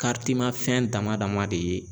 ma fɛn dama dama de ye